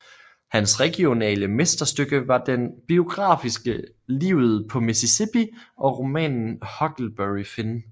Hans regionale mesterstykke var den biografiske Livet på Mississippi og romanen Huckleberry Finn